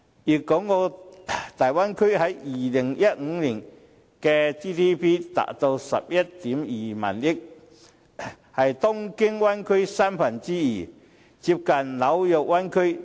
粵港澳大灣區在2015年的 GDP 達到 11.2 萬億元，是東京灣區的三分之二。